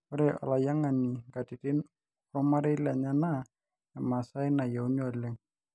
ore alayiangani nkatitin ormarei lenye naa emasaai nayieuni oleng